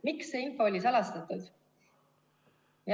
Miks see info oli salastatud?